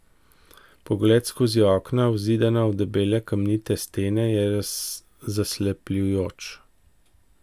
Pogled skozi okna, vzidana v debele kamnite stene, je zaslepljujoč.